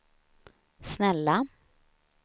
snälla